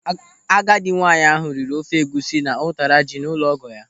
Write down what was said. Agadi nwaanyị ahụ riri ofe egwusi na ụtara ji n'ụlọ ọgọ ya.